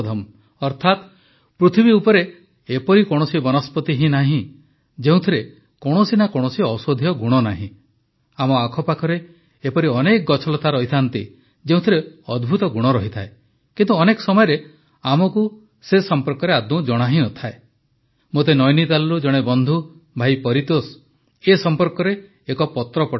ଅର୍ଥାତ ପୃଥିବୀ ଉପରେ ଏପରି କୌଣସି ବନସ୍ପତି ହିଁ ନାହିଁ ଯେଉଁଥିରେ କୌଣସି ନା କୌଣସି ଔଷଧୀୟ ଗୁଣ ନାହିଁ ଆମ ଆଖପାଖରେ ଏପରି ଅନେକ ଗଛଲତା ରହିଥାନ୍ତି ଯେଉଁଥିରେ ଅଦ୍ଭୁତ ଗୁଣ ଥାଏ କିନ୍ତୁ ଅନେକ ସମୟରେ ଆମକୁ ତା ସମ୍ପର୍କରେ ଆଦୌ ଜଣା ହିଁ ନଥାଏ ମୋତେ ନୈନିତାଲରୁ ଜଣେ ବନ୍ଧୁ ଭାଇ ପରିତୋଷ ଏ ସମ୍ପର୍କରେ ଏକ ପତ୍ର ପଠାଇଛନ୍ତି